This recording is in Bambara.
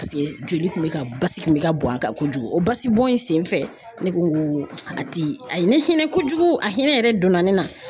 Paseke joli kun bɛ ka basi kun bɛ ka bɔn a kan kojugu o basi bɔn in senfɛ ne ko n ko a ti a ye ne hinɛ kojugu a hinɛ yɛrɛ donna ne na.